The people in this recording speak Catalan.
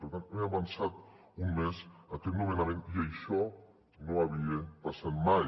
per tant hem avançat un mes aquest nomenament i això no havia passat mai